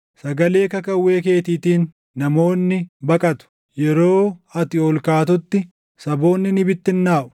Sagalee kakawwee keetiitiin, namoonni baqatu; yeroo ati ol kaatutti, saboonni ni bittinnaaʼu.